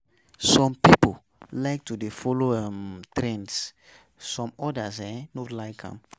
some pipo like to de follow um trends some others um no like am